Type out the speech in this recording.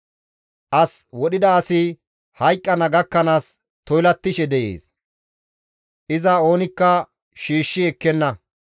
As wodhida asi hayqqana gakkanaas toylattishe dees; iza oonikka shiishshi ekkenna.